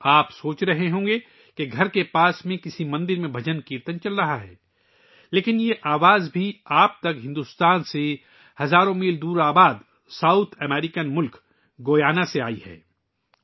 آپ سوچ رہے ہوں گے کہ پڑوس کے کسی مندر میں بھجن کیرتن ہو رہا ہے لیکن یہ دُھن بھارت سے ہزاروں میل دور جنوبی امریکی ملک گیانا سے آپ تک پہنچی ہے